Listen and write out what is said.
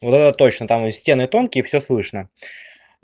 вот это точно там стены тонкие всё слышно